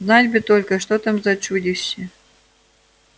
знать бы только что там за чудище